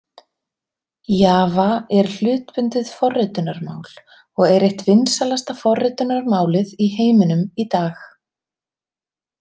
Java er hlutbundið forritunarmál, og er eitt vinsælasta forritunarmálið í heiminum í dag.